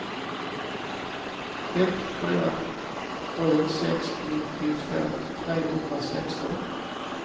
ett fyra sju sex nittiotvå trehundrasexton